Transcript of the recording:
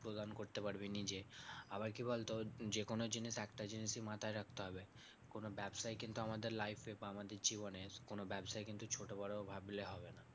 প্রদান করতে পারবি নিজে। আবার কি বলতো? যেকোনো জিনিস একটা জিনিসই মাথায় রাখতে হবে কোনো ব্যাবসাই কিন্তু আমাদের life এ বা আমাদের জীবনে কোনো ব্যাবসাই কিন্তু ছোট বড় ভাবলে হবে না।